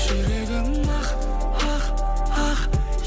жүрегім ақ ақ ақ